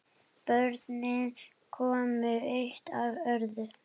Börnin komu eitt af öðru.